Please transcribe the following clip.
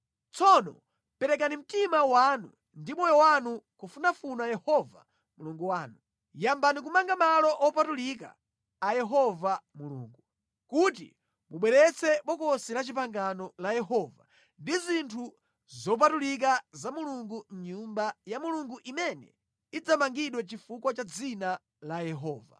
Tsono perekani mtima wanu ndi moyo wanu kufunafuna Yehova Mulungu wanu. Yambani kumanga malo opatulika a Yehova Mulungu, kuti mubweretse Bokosi la Chipangano la Yehova ndi zinthu zopatulika za Mulungu mʼNyumba ya Mulungu imene idzamangidwa chifukwa cha dzina la Yehova.”